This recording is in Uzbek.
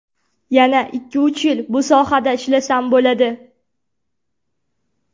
Yana ikki-uch yil bu sohada ishlasam bo‘ladi.